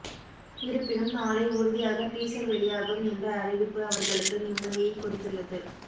இருப்பினும் நாளை உறுதியாக டீசர் வெளியாகும் என்ற அறிவிப்பு அவர்களுக்கு நிம்மதியை கொடுத்துள்ளது